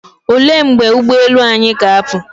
Olee mgbe ụgboelu anyị ga-apụ?